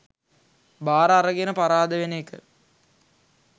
බාර අරගෙන පරාද වෙන එක